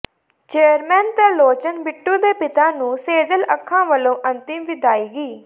chairman Tarlochan Bittu ਦੇ ਪਿਤਾ ਨੂੰ ਸੇਜ਼ਲ ਅੱਖਾਂ ਵਲੋਂ ਅੰਤਿਮ ਵਿਦਾਇਗੀ